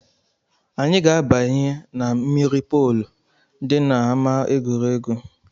Anyị ga-abanye na mmiri polu dị n’ama egwuregwu